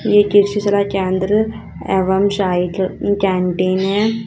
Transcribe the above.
एक कृषि सलाह केंद्र एवं शाही कैंटीन है।